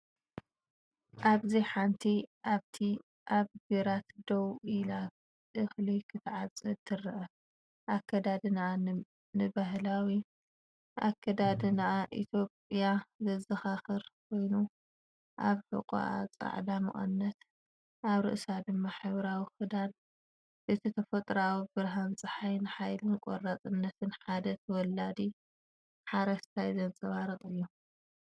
ኣብዚ ሓንቲ ሓብቲ ኣብ ግራት ደው ኢላ እኽሊ ክትዓጽድ ትርአ። ኣከዳድናኣ ንባህላዊ ኣከዳድና ኢትዮጵያ ዘዘኻኽር ኮይኑ፡ ኣብ ሕቖኣ ጻዕዳ መቀነት፡ ኣብ ርእሳ ድማ ሕብራዊ ክዳን። እቲ ተፈጥሮኣዊ ብርሃን ጸሓይ ንሓይልን ቆራጽነትን ሓደ ተወላዲ ሓረስታይ ዘንጸባርቕ እዩ።